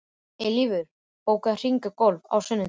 Eilífur, bókaðu hring í golf á sunnudaginn.